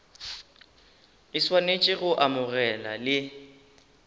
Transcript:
e swanetše go amogela le